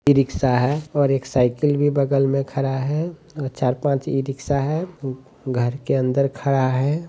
ई rickshaw है और एक साइकिल भी बगल में खड़ा है। चार-पाँच ई-रिक्शा है ऊऊ घर के अंदर खड़ा है।